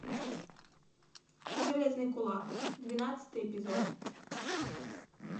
железный кулак двенадцатый эпизод